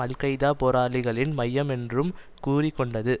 அல் Qaeda போராளிகளின் மையம் என்றும் கூறிக்கொண்டது